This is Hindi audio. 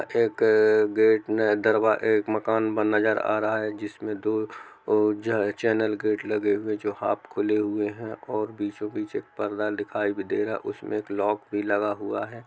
एक क गेट दरवा एक मकान बन नज़र आ रहा हैं जिसमे दो चैनल गेट लगे हुए हैं जो हाफ खुले हुए हैं और बीचो बिच एक पर्दा दिखाई दे रहा हैं उसमे एक लॉक भी लगा हुआ हैं।